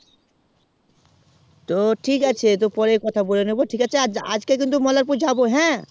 তো ঠিক আছে পরে কথা বলে নেবো আর আজ কে কিন্তু মোল্লারপুর যাবো হ্যাঁ